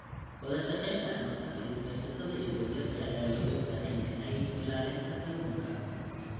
Wadashaqeyn dhexmarta kalluumeysatada iyo dowladda ayaa looga baahan yahay ilaalinta kalluunka.